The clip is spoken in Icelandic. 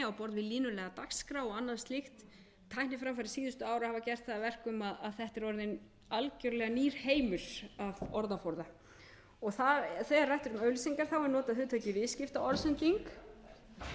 línulega á dagskrá og annað slíkt tækniframfarir síðustu ára hafa gert það að verkum að þetta er einn algjörlega nýr heimur af orðaforða þegar rætt er um auglýsingar er notað hugtakið viðskiptaorðsending